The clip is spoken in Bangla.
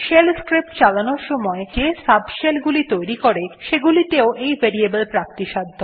শেল স্ক্রিপ্টস চালানোর সময় শেল যে subshell গুলি তৈরী করে সেগুলি তেও এই ভেরিয়েবল প্রাপ্তিসাধ্য